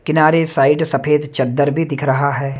किनारे साइड सफेद चद्दर भी दिख रहा है।